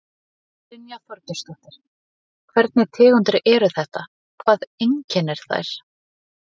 Brynja Þorgeirsdóttir: Hvernig tegundir eru þetta, hvað einkennir þær?